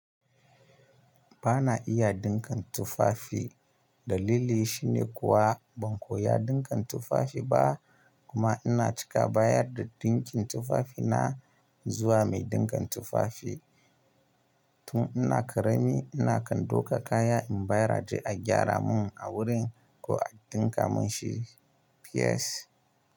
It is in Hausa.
Ba na iya ɗinka tufafi. Dalili shi ne kuwa ban koya ɗinka tufafi ba. Kuma ina cika bayar da ɗinkin tufafina zuwa mai ɗinka tufafi. Tun ina ƙarami ina kan duka kaya in baya raje a gyara mun a wurin ko a ɗinka mun shi. Peace.